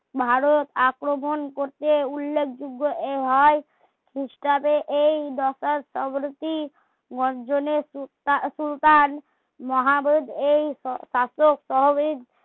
ভারত আক্রমণ করতে উল্লেখযোগ্য এ হয় এই দশার গর্জনে সু~ সুলতান এই শাসক সহবিদ